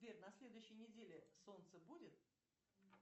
сбер на следующей неделе солнце будет